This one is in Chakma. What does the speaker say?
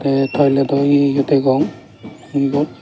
ai toilet dw eio o degong ebo.